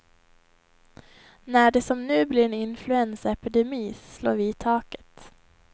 När det som nu blir en influensaepidemi slår vi i taket.